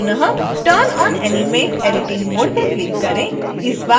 एक बार पुनः turn on animate editing mode पर क्लिक करें